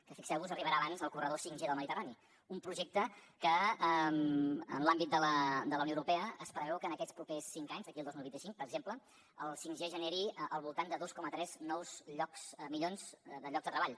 que fixeu vos arribarà abans el corredor 5g del mediterrani un projecte que en l’àmbit de la unió europea es preveu que en aquests propers cinc anys d’aquí al dos mil vint cinc per exemple el 5g generi al voltant de dos coma tres milions de llocs de treball